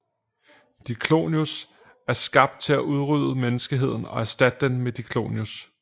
Diclonius er skabt til at udrydde menneskeheden og erstatte den med Diclonius